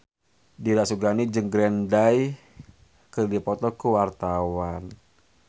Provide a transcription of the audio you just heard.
Dira Sugandi jeung Green Day keur dipoto ku wartawan